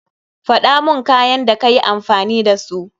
Faɗaman kayan da kayi amfani da su.